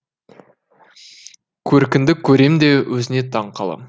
көркіңді көрем де өзіңе таң қалам